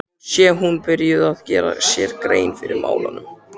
Nú sé hún byrjuð að gera sér grein fyrir málunum.